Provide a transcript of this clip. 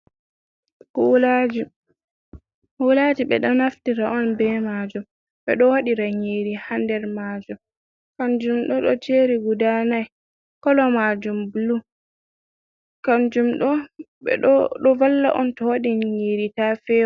"Kulaji" kulaji ɓe ɗo naftira on be majum ɓe ɗo waɗi ra nyiri ha nder majum. Kanjum ɗo ɗo joɗi guda nai kolo majum bulu kanjum ɗo ɗo valla on to waɗi nyiri ta fe’wa.